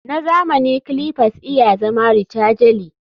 Na zamani clippers iya zama rechargely